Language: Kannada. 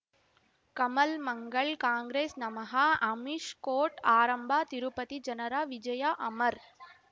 ಕಮಲ್ ಮಂಗಳ್ ಕಾಂಗ್ರೆಸ್ ನಮಃ ಅಮಿಷ್ ಕೋರ್ಟ್ ಆರಂಭ ತಿರುಪತಿ ಜನರ ವಿಜಯ ಅಮರ್